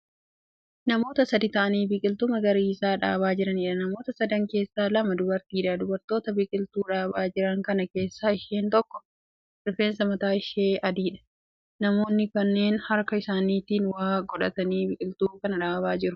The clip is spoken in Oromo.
Namoota sadii ta'aanii biqiltuu magariisa dhaabaa jiraniidha. Namoota sadan keessaa lama dubartiidha. Dubartoota biqiltuu dhaabaa jiran kana keessaa isheen tokko rifeensi mataa ishee adiidha. Namoonni kunneen harka isaaniitti waa godhatanii biqiltuu kana dhaabaa jiru.